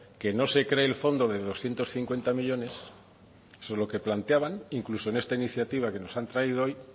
que no se cree el fondo de doscientos cincuenta millónes solo que planteaban incluso en esta iniciativa que nos han traído hoy